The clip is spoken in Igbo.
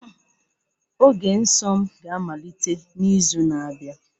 Oge nsọ m ga-amalite n'izu na-abịa